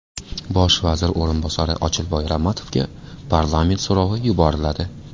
Bosh vazir o‘rinbosari Ochilboy Ramatovga parlament so‘rovi yuboriladi.